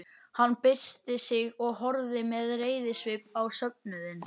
Hann byrsti sig og horfði með reiðisvip á söfnuðinn.